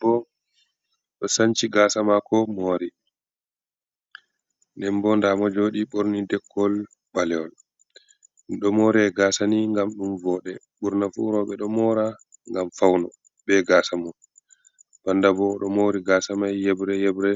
Bo ɗo sanci gasa mako mori den bo damo jodi borni dekkol baleyol. Ɗo more gasa ni gam dum vode burnafu roɓe ɗo mora gam fauno be gasa mo bandabo ɗo mori gasa mai yebre hebre